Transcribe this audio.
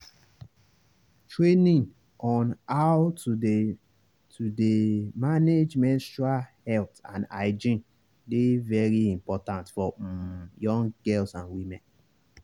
training on how to dey to dey manage menstrual health and hygiene dey very important for um young girls and women.